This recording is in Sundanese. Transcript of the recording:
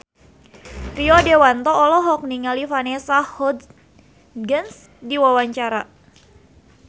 Rio Dewanto olohok ningali Vanessa Hudgens keur diwawancara